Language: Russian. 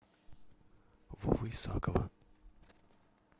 вовы исакова